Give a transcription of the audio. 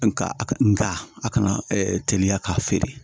Nga a ka nga a kana teliya k'a feere